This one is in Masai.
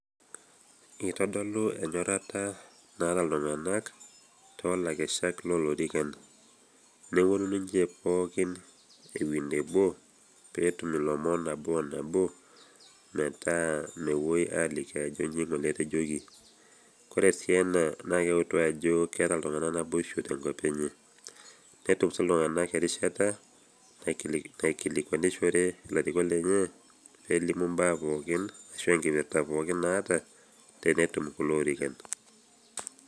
Itodolu enyorrata naata iltung'anak toolakeshak loolorikan neponu ninche pookin ewuei nebo aaning' ilomon nabo o nabo metaa mepuoi aaliki ajoki inji ng'ole etejoki ore sii ena naa keutu ajo keeta iltung'anak naboishu te enko enye. Netum sii iltung'anak erishata naikilikuanishore lelo orikok lenye pee elimu imbaa pookin ashu enkipirta pookin naata tenetum kulo orikan.